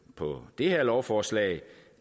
på det her lovforslag